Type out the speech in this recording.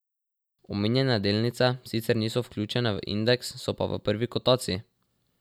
Omenjene delnice sicer niso vključene v indeks, so pa v prvi kotaciji.